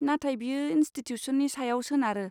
नाथाय बेयो इनस्टिटिउसननि सायाव सोनारो।